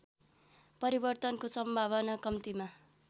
परिवर्तनको सम्भावना कम्तीमा